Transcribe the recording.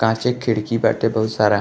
काचे के खिड़की बाटे बहुत सारा।